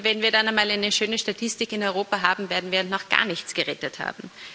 Und nur weil wir dann einmal eine schöne Statistik in Europa haben, werden wir noch gar nichts gerettet haben.